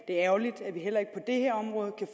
er ærgerligt at vi heller ikke